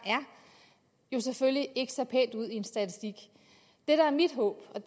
er selvfølgelig ikke ser pænt ud i en statistik det der er mit håb og